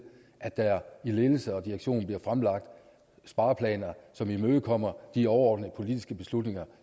at der i ledelse og direktion bliver fremlagt spareplaner som imødekommer de overordnede politiske beslutninger